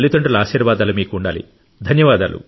మీ తల్లిదండ్రుల ఆశీర్వాదాలు మీకు ఉండాలి